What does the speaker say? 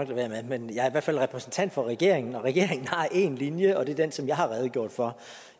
være med men jeg er i hvert fald repræsentant for regeringen og regeringen har én linje og det er den som jeg har redegjort for